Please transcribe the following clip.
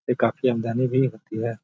ये काफी भी होती है।